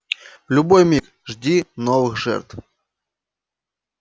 в любой миг жди новых жертв